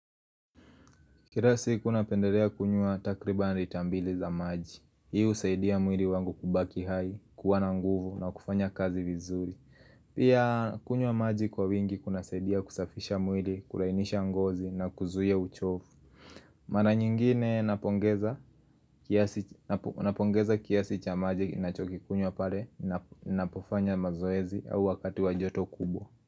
Kirasi kuna pendelea kunywa takriba nritambili za maji Hii usaidia mwili wangu kubaki hai, kuwana nguvu na kufanya kazi vizuri. Pia kunywa maji kwa wingi kuna saidia kusafisha mwili, kulainisha ngozi na kuzuia uchofu. Maranyingine napongeza kiasi cha maji na choki kikunywa pale. Na pofanya mazoezi au wakati wajoto kubwa.